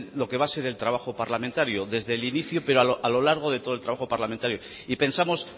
lo que va a ser el trabajo parlamentario desde el inicio pero a lo largo de todo el trabajo parlamentario y pensamos